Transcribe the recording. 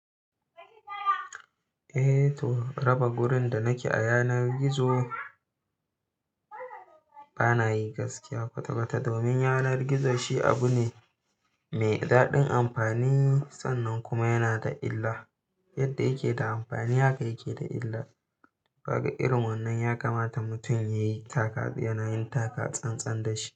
Eh to raba gurin da nake a yanar gizo bana yi gaskiya kwata kwata domin yanar gizo shi abu ne mai daɗin amfani sannan kuma yana da illa. Yadda yake da amfani haka yake da illa. Kaga irin wannan ya kamata mutum ya yi taka yana yin taka tsantsan da shi.